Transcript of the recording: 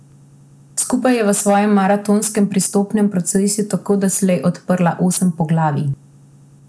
Skupaj je v svojem maratonskem pristopnem procesu tako doslej odprla osem poglavij.